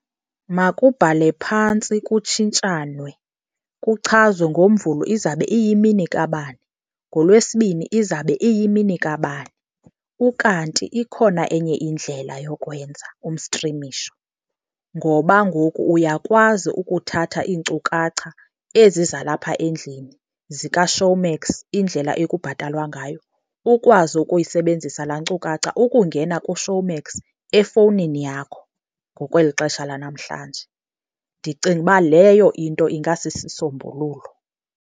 Makubhale phantsi kutshintshanwe, kuchazwe ngoMvulo izabe iyimini kabani, ngoLwesibini izabe iyimini kabani. Ukanti ikhona enye indlela yokuwenza umstrimisho, ngoba ngoku uyakwazi ukuthatha iinkcukacha ezi zalapha endlini zikaShowmax indlela ekubhatalwa ngayo, ukwazi ukuyisebenzisa laa nkcukacha ukungena kuShowmax efowunini yakho ngokweli xesha lanamhlanje. Ndicinga uba leyo into ingasisisombululo.